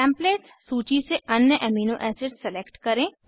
templates सूची से अन्य एमिनो एसिड्स सेलेक्ट करें